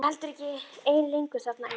Ég var heldur ekki ein lengur þarna í